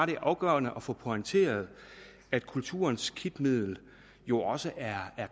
det er afgørende at få pointeret at kulturens kitmiddel jo også er